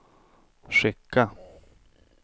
skicka